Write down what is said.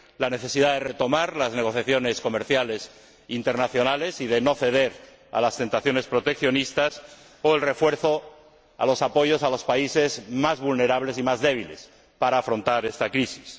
la necesidad de retomar las negociaciones comerciales internacionales y de no ceder a las tentaciones proteccionistas o el refuerzo a los apoyos a los países más vulnerables y más débiles para afrontar esta crisis.